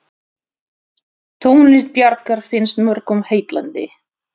Tónlist Bjarkar finnst mörgum heillandi.